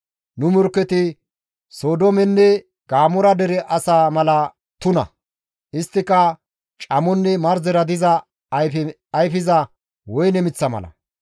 Nu morkketi Sodoomenne Gamoora dere asaa mala tuna; isttika camonne marzera diza ayfe ayfiza woyne miththa mala.